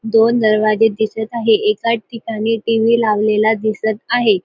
दोन दरवाजे दिसत आहे एका ठिकाणी टी.व्ही लावलेला दिसत आहे.